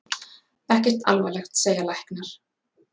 Ekkert alvarlegt segja læknar.